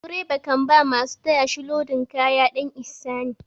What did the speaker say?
Direba kan ba masu taya shi lodin kaya ɗan ihsani.